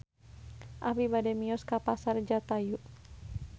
Abi bade mios ka Pasar Jatayu